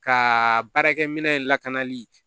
Ka baarakɛminɛn in lakanali